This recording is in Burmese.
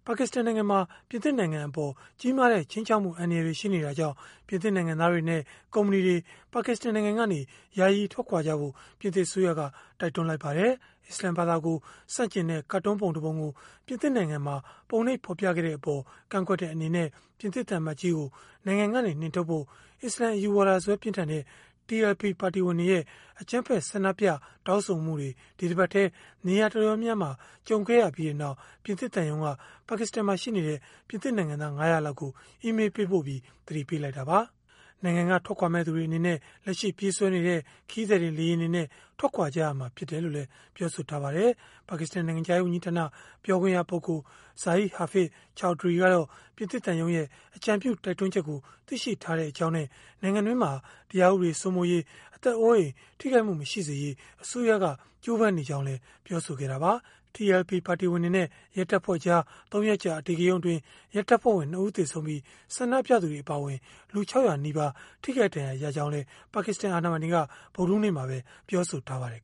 ါကစ္စတန်နိုင်ငံမှာ ပြင်သစ်နိုင်ငံအပေါ် ကြီးမားတဲ့ ခြိမ်းခြောက်မှု အန္တရာယ်တွေ ရှိနေတာကြောင့် ပြင်သစ် နိုင်ငံသားတွေနဲ့ ကုမ္ပဏီတွေ ပါကစ္စတန်နိုင်ငံကနေ ယာယီထွက်ခွာကြဖို့ ပြင်သစ်အစိုးရက တိုက်တွန်းလိုက်ပါတယ်။ အစ္စလာမ်ဘာသာကို ဆန့်ကျင်တဲ့ ကာတွန်းပုံတပုံကို ပြင်သစ်နိုင်ငံမှာ ပုံနှိပ်ဖော်ပြခဲ့တဲ့အပေါ် ကန့်ကွက်တဲ့ အနေနဲ့ ပြင်သစ် သံအမတ်ကြီးကို နိုင်ငံကနေ နှင်ထုတ်ဖို့ အစ္စလာမ်အယူဝါဒစွဲပြင်းထန်တဲ့ TLP ပါတီဝင်တွေရဲ့ အကြမ်းဖက် ဆန္ဒပြတောင်းဆိုမှုတွေ ဒီတပတ်ထဲ နေရာတော်တော်များများမှာ ကြုံခဲ့ရပြီးနောက် ပြင်သစ်သံရုံးက ပါကစ္စတန်မှာ ရှိနေတဲ့ ပြင်သစ် နိုင်ငံသား ၅၀၀ လောက်ကို အီးမေးလ်ပေးပို့ပြီး သတိပေးလိုက်တာပါ။ နိုင်ငံက ထွက်ခွာမယ့်သူတွေ အနေနဲ့ လက်ရှိ ပြေးဆွဲနေတဲ့ ခရီးသည်တင် လေယာဉ်တွေနဲ့ ထွက်ခွာကြရမှာ ဖြစ်တယ်လို့လည်း ပြောပါတယ်။ ပါကစ္စတန် နိုင်ငံခြားရေး ဝန်ကြီးဌာန ပြောခွင့်ရပုဂ္ဂိုလ် Zahid Hafeez Chaudhri ကတာ့ ပြင်သစ်သံရုံးရဲ့ အကြံပြုတိုက်တွန်းချက်ကို သိရှိထားကြောင်းနဲ့ နိုင်ငံတွင်းမှာ တရားဥပဒေ စိုးမိုးရေး၊ အသက်အိုးအိမ် ထိခိုက်မှု မရှိစေရေး အစိုးရက ကြိုးပမ်းနေကြောင်း ပြောဆိုခဲ့တာပါ။ TLP ပါတီဝင်တွေနဲ့ ရဲတပ်ဖွဲ့ကြား ၃ ရက်ကြာ အဓိကရုဏ်းအတွင်း ရဲတပ်ဖွဲ့ဝင် ၂ ဦး သေဆုံးပြီး၊ ဆန္ဒပြသူတွေ အပါအဝင် လူ ၆၀၀ နီးပါး ထိခိုက်ဒဏ်ရာ ရခဲ့ကြောင်းလည်း ပါကစ္စတန် အာဏာပိုင်တွက ဗုဒ္ဓဟူးနေ့မှာ ပြောဆိုထားပါတယ်